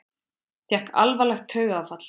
Fékk alvarlegt taugaáfall